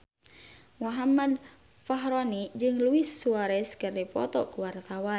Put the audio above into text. Muhammad Fachroni jeung Luis Suarez keur dipoto ku wartawan